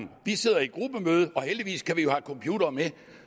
vi sidder i gruppemøde og heldigvis kan vi jo have computere med